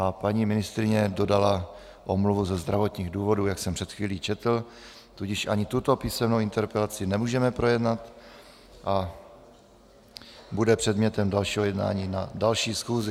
A paní ministryně dodala omluvu ze zdravotních důvodů, jak jsem před chvílí četl, tudíž ani tuto písemnou interpelaci nemůžeme projednat a bude předmětem dalšího jednání na další schůzi.